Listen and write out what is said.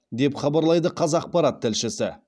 деп хабарлайды қазақпарат тілшісі